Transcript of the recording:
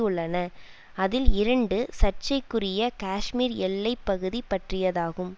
உள்ளன அதில் இரண்டு சர்ச்சைக்குரிய காஷ்மீர் எல்லை பகுதி பற்றியதாகும்